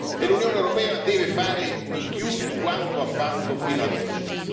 E l'Unione europea deve fare di più di quanto ha fatto fino ad oggi.